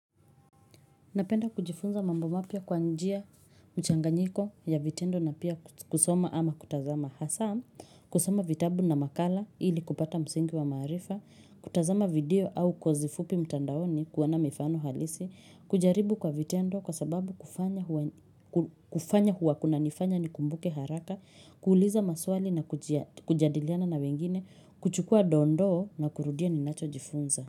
Napenda kujifunza mambo mapya kwa njia mchanganyiko ya vitendo na pia kusoma ama kutazama hasaa kusoma vitabu na makala ili kupata msingi wa maarifa, kutazama video au kwa zifupi mtandaoni kuona mifano halisi, kujaribu kwa vitendo kwa sababu kufanya kufanya huwa kunanifanya nikumbuke haraka, kuuliza maswali na kujadiliana na wengine, kuchukua dondoo na kurudia ninachojifunza.